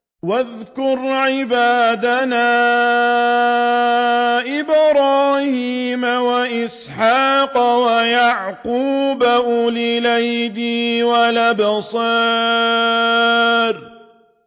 وَاذْكُرْ عِبَادَنَا إِبْرَاهِيمَ وَإِسْحَاقَ وَيَعْقُوبَ أُولِي الْأَيْدِي وَالْأَبْصَارِ